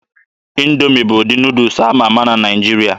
Indoomi bụ ụdị Nuudus ama ama na Naịjirịa.